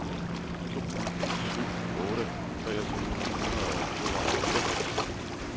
to ni syv otte treogtyve ni hundrede og tooghalvfems